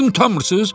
Dedim utanmırsız?